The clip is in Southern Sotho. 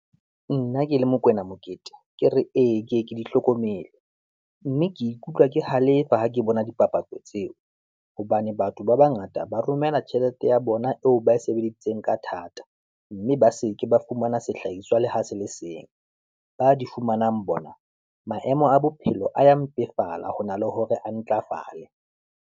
Nna ke le Mokoena Mokete, ke re ee ke ye ke di hlokomele, mme ke ikutlwa ke halefa ha ke bona dipapatso tseo. Hobane batho ba bangata ba romela tjhelete ya bona eo bae sebeditseng ka thata, mme ba se ke ba fumana sehlahiswa le ho se le seng, ba di fumanang bona, maemo a bophelo a ya mpefala ho na le hore a ntlafale.